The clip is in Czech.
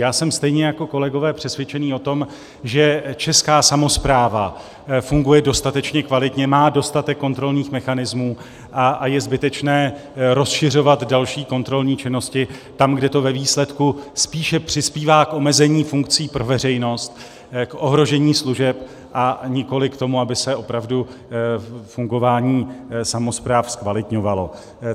Já jsem stejně jako kolegové přesvědčený o tom, že česká samospráva funguje dostatečně kvalitně, má dostatek kontrolních mechanismů a je zbytečné rozšiřovat další kontrolní činnosti tam, kde to ve výsledku spíše přispívá k omezení funkcí pro veřejnost, k ohrožení služeb, a nikoliv k tomu, aby se opravdu fungování samospráv zkvalitňovalo.